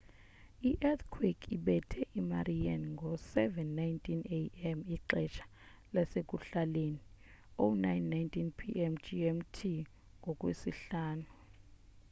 i-eathquake ibethe imariana ngo-07:19 a.m. ixesha lasekuhlaleni 09:19 p.m. gmt ngolwesihlanu